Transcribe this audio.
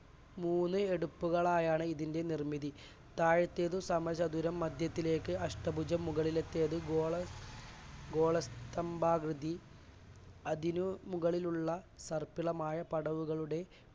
മൂന്ന് എടുപ്പുകളായാണ് ഇതിൻറെ നിർമ്മിതി താഴത്തേത് സമചതുരം മധ്യത്തിലേക്ക് അഷ്ടഭുജം മുകളിലെത്തെത് ഗോള~ ഗോള സ്തംഭാകൃതി അതിനു മുകളിലുള്ള തർക്കുലമായ പടവുകളുടെ